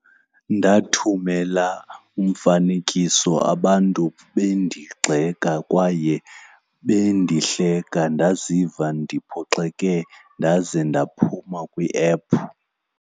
Ndathumela umfanekiso abantu bendigxeka kwaye bendihleka, ndaziva ndiphoxeke ndaze ndaphuma kwiephu.